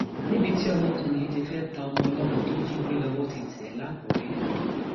níbi tí ọmọkùnrin yìí ti fẹẹ ta ọmọ ọlọmọ tó jí gbé lọwọ ti tẹ é lákùrẹ